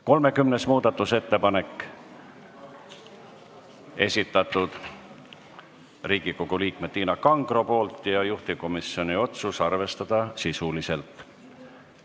30. muudatusettepaneku on esitanud Riigikogu liige Tiina Kangro ja juhtivkomisjoni otsus on arvestada sisuliselt.